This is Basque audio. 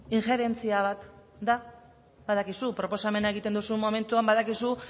injerentzia bat da badakizu proposamena egiten duzun momentuan badakizu